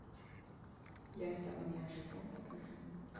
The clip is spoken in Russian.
я этого не ожидал покажи